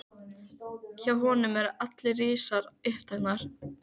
Hjá honum eru allar rásir uppteknar.